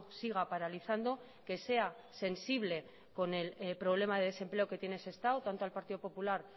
siga paralizando que sea sensible con el problema de desempleo que tiene sestao tanto al partido popular